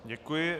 Děkuji.